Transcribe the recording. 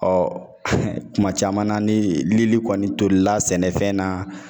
Ɔ kuma caman na ni, lili kɔni tolila ,sɛnɛfɛn na.